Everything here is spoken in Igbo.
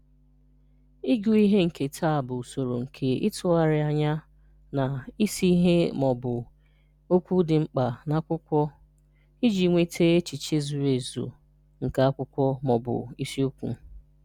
Ị́gụ̀ ìhè nkéta bụ̀ ụ̀sọ̀rò nké ịtụ́gharịà ànyà na ísì ìhè ma ọ̀bụ̀ okwu dị̀ mkpà n’ákwụ̀kwọ̀ iji nwetà echiche zurù èzù nke ákwụ̀kwọ̀ ma ọ̀bụ̀ ísíokwù